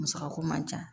Musakako man ca